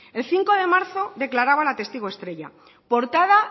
el cinco de marzo declaraba la testigo estrella portada